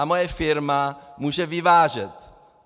A moje firma může vyvážet.